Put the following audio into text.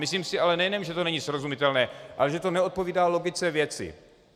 Myslím si ale, nejenom že to není srozumitelné, ale že to neodpovídá logice věci.